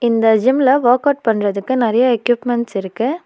இந்த ஜிம்ல வொர்க்அவுட் பண்றதுக்கு நெறைய எக்யூப்மென்ட்ஸ் இருக்கு.